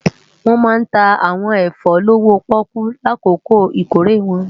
Wòn má ntá áwòn efò lówó-pòkú lákókó ikóré wòn